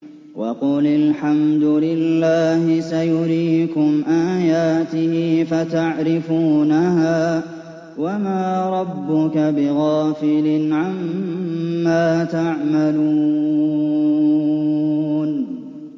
وَقُلِ الْحَمْدُ لِلَّهِ سَيُرِيكُمْ آيَاتِهِ فَتَعْرِفُونَهَا ۚ وَمَا رَبُّكَ بِغَافِلٍ عَمَّا تَعْمَلُونَ